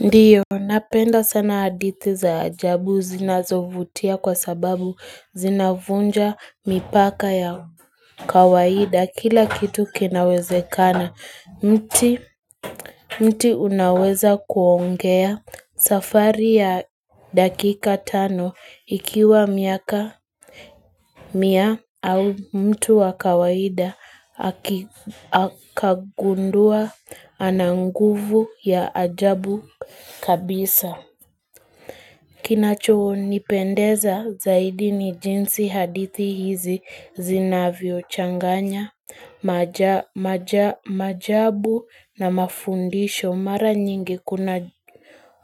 Ndiyo, napenda sana hadithi za ajabu zinazovutia kwa sababu zinavunja mipaka ya kawaida, kila kitu kinawezekana, mti unaweza kuongea safari ya dakika tano, ikiwa miaka mia au mtu wa kawaida, akagundua ana nguvu ya ajabu kabisa. Kinachonipendeza zaidi ni jinsi hadithi hizi zinavyochanganya, maajabu na mafundisho mara nyingi kuna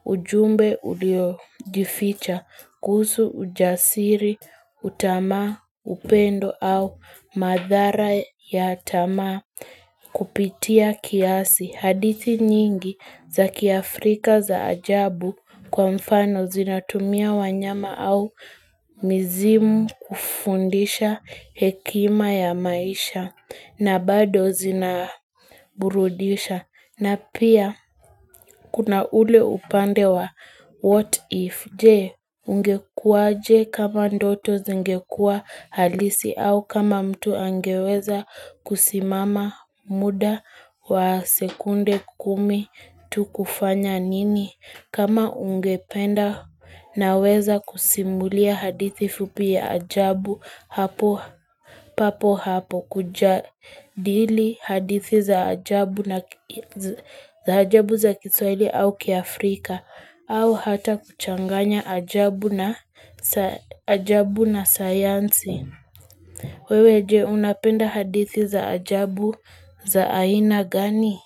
ujumbe uliojificha kuhusu ujasiri, utamaa, upendo au madhara ya tamaa kupitia kiasi. Hadithi nyingi za kiafrika za ajabu kwa mfano zinatumia wanyama au mizimu kufundisha hekima ya maisha na bado zinaburudisha. Na pia kuna ule upande wa what if Je ungekuaje kama ndoto zingekua halisi au kama mtu angeweza kusimama muda wa sekunde kumi tu kufanya nini. Kama ungependa naweza kusimulia hadithi fupi ya ajabu hapo papo hapo kujadili hadithi za ajabu za kiswahili au kiAfrika au hata kuchanganya ajabu na ajabu na sayansi. Wewe je unapenda hadithi za ajabu za aina gani?